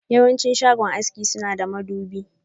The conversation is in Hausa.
Yawanci shagon haski suna da madubi.